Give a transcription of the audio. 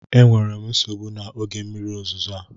Enwere m nsogbu na oge mmiri ozuzo a